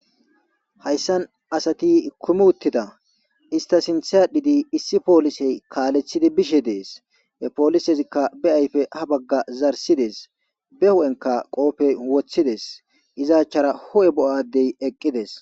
hayssan asati kumuuttida ista sintha adhidi issi poolisey kaalethidi bishe dees e poolisezikka be ayfe ha bagga zarsidees be hu7enka qoopey woththides izaachchara ho7e bo7adey eqqides